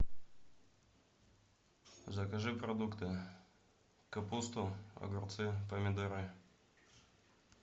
закажи продукты капусту огурцы помидоры